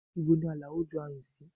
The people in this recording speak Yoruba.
Ibo ni Alao ju ayùn sí?